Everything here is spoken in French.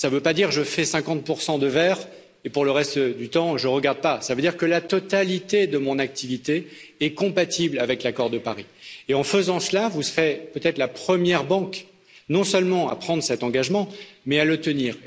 Cela ne signifie pas je fais 50 de vert et pour le reste du temps, je ne regarde pas, cela veut dire que la totalité de mon activité est compatible avec l'accord de Paris. Et en faisant cela, vous serez peut être la première banque non seulement à prendre cet engagement, mais à le tenir.